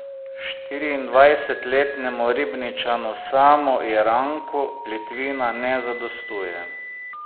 Štiriindvajsetletnemu Ribničanu Samu Jeranku plitvina ne zadostuje.